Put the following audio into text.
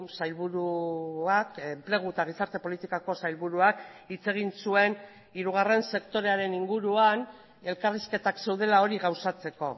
sailburuak enplegu eta gizarte politikako sailburuak hitz egin zuen hirugarren sektorearen inguruan elkarrizketak zeudela hori gauzatzeko